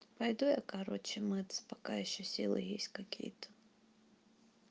пойду я короче мыться пока ещё силы есть какие-то